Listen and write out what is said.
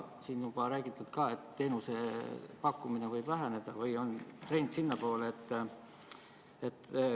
Siin on juba räägitud ka, et teenuste pakkumine võib väheneda, et trend on sinnapoole.